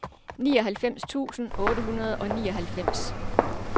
nioghalvfems tusind otte hundrede og nioghalvfems